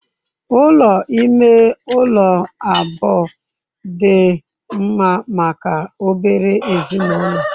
Ụlọ ime ụlọ abụọ dị mma maka obere ezinụlọ.